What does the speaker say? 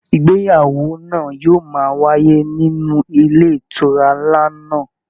Ìgbéyàwó náà yóò máa wáyé nínú ilé ìtura nlá náà.